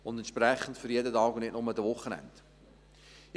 Diese ist für jeden Tag und nicht nur für die Wochenenden da.